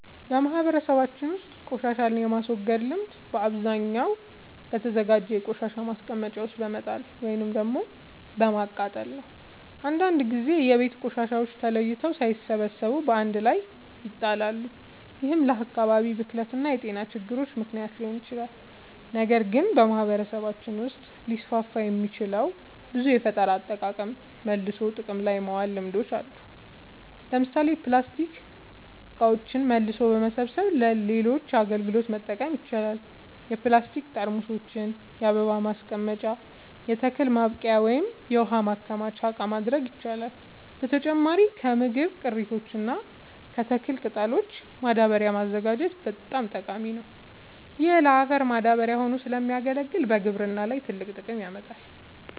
በማህበረሰባችን ውስጥ ቆሻሻን የማስወገድ ልምድ በአብዛኛው በተዘጋጀ የቆሻሻ ማስቀመጫ ውስጥ በመጣል ወይም በማቃጠል ነው። አንዳንድ ጊዜ የቤት ቆሻሻዎች ተለይተው ሳይሰበሰቡ በአንድ ላይ ይጣላሉ፤ ይህም ለአካባቢ ብክለት እና ለጤና ችግሮች ምክንያት ሊሆን ይችላል። ነገር ግን በማህበረሰባችን ውስጥ ሊስፋፉ የሚችሉ ብዙ የፈጠራ አጠቃቀምና መልሶ ጥቅም ላይ ማዋል ልምዶች አሉ። ለምሳሌ ፕላስቲክ እቃዎችን መልሶ በመሰብሰብ ለሌሎች አገልግሎቶች መጠቀም ይቻላል። የፕላስቲክ ጠርሙሶችን የአበባ ማስቀመጫ፣ የተክል ማብቀያ ወይም የውሃ ማከማቻ እቃ ማድረግ ይቻላል። በተጨማሪም ከምግብ ቅሪቶች እና ከተክል ቅጠሎች ማዳበሪያ ማዘጋጀት በጣም ጠቃሚ ነው። ይህ ለአፈር ማዳበሪያ ሆኖ ስለሚያገለግል በግብርና ላይ ትልቅ ጥቅም ያመጣል።